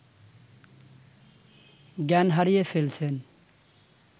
জ্ঞান হারিয়ে ফেলছেন